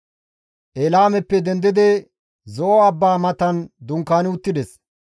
Eelaameppe dendidi Zo7o abbaa matan dunkaani uttides.